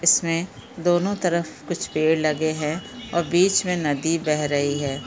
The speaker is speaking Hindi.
इसमे दोनों तरफ कुछ पेड़ लगे है और बीच मे नदी बह रही है।